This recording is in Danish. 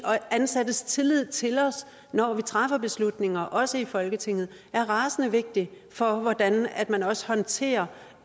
ansattes tillid til os når vi træffer beslutninger også i folketinget er rasende vigtig for hvordan man også håndterer